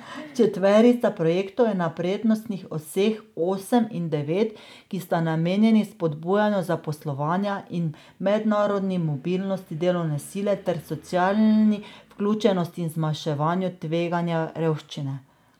Četverica projektov je na prednostnih oseh osem in devet, ki sta namenjeni spodbujanju zaposlovanja in mednarodni mobilnosti delovne sile ter socialni vključenosti in zmanjševanju tveganja revščine.